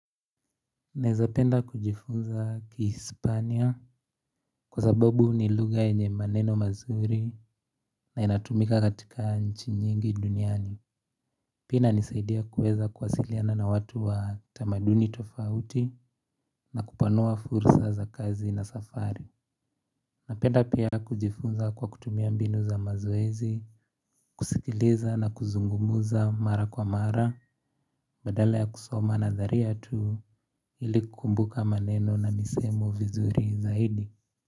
Naeza penda kujifunza kiHispania kwa sababu nilugha yenye maneno mazuri na inatumika katika nchi nyingi duniani. Pia inanisaidia kuweza kuwasiliana na watu wa tamaduni tofauti na kupanua fursa za kazi na safari. Napenda pia kujifunza kwa kutumia mbinu za mazoezi, kusikiliza na kuzungumza mara kwa mara Badala ya kusoma nadharia tu ili kukumbuka maneno na misemo vizuri zaidi.